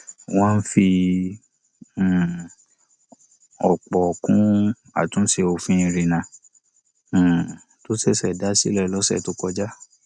wọn fi um òpò kún àtúnṣe òfin ìrìnnà um tó ṣẹṣẹ dá sílẹ lọsẹ tó kọjá